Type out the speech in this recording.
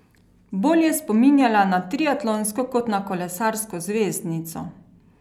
Bolj je spominjala na triatlonsko kot na kolesarsko zvezdnico.